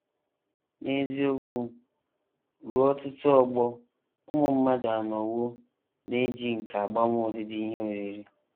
N’eziokwu, ruo ọtụtụ ọgbọ ụmụ mmadụ anọwo na - eji nkà agbanwe ọdịdị ihe oriri.